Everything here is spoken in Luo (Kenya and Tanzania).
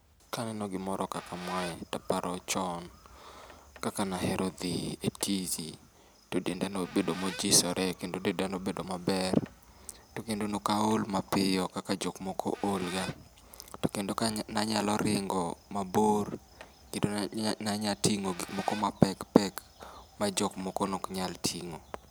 Kaneno gimoro kaka mae taparo chon kaka nahero dhi e tisi to denda nobedo mojisore kendo denda nobedo maber. To kendo nokaol mapiyo kaka jok moko ol ga, to kendo ka nanyalo ringo mabor kendo nanya nya nanya ting'o gik moko mapek pek ma jok moko nok nya ting'o.